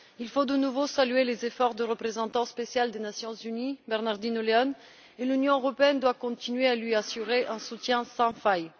Il faut à nouveau saluer les efforts du représentant spécial des Nations unies, Bernardino León, et l'Union européenne doit continuer à lui assurer un soutien sans faille.